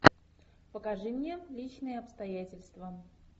покажи мне личные обстоятельства